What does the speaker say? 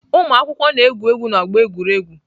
Ụmụakwụkwọ na-egwu egwu n'ọgbọ egwuregwu.